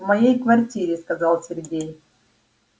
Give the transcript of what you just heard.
в моей квартире сказал сергей